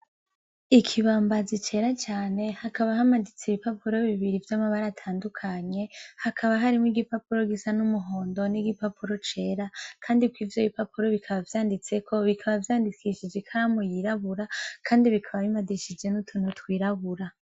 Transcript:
Ikibambazi cera cane hakaba hamanitse ibipapuro bibiri vyamabara atandukanye hakaba harimwo igipapuro gisa numuhondo nigipapuro cera kandi kw'ivyo bipapuro biba vyanditseko bikaba vyandikishije ikaramu yiraburabura Kandi bikaba bimadishije utuntu twirabura .